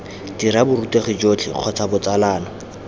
dira borutegi jotlhe kgotsa botsalano